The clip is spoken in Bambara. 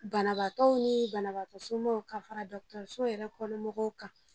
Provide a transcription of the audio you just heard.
Banabagatɔw ni banabagatɔsomɔgɔw ka fara dɔgɔtɔrɔso yɛrɛ kɔnɔmɔgɔw kan